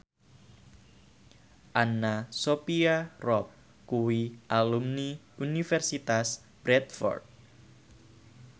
Anna Sophia Robb kuwi alumni Universitas Bradford